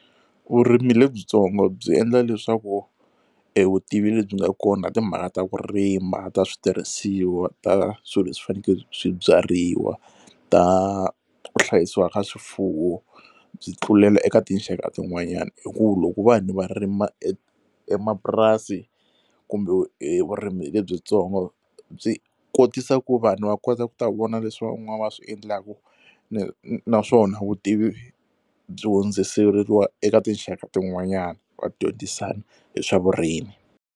Vurimi lebyitsongo byi endla leswaku e vutivi lebyi nga kona timhaka ta ku rima ta switirhisiwa ta swilo leswi fanekele swi byariwa ta ku hlayisiwa ka swifuwo byi tlulela eka tinxaka tin'wanyana hi ku loko vanhu va rima e emapurasi kumbe vurimi lebyitsongo byi kotisa ku vanhu va kota ku ta vona leswi van'wana va swi endlaka ni naswona vutivi byo hundziseriwa eka tinxaka tin'wanyana va dyondzisana hi swa vurimi.